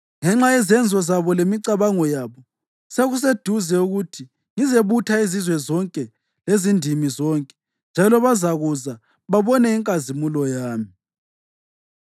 Ngenxa yezenzo zabo lemicabango yabo, sekuseduze ukuthi ngizebutha izizwe zonke lezindimi zonke; njalo bazakuza babone inkazimulo yami.